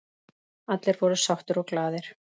Allir voru sáttir og glaðir.